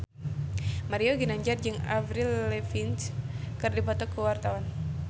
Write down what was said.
Mario Ginanjar jeung Avril Lavigne keur dipoto ku wartawan